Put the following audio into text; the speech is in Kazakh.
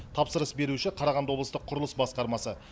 тапсырыс беруші қарағанды облыстық құрылыс басқармасы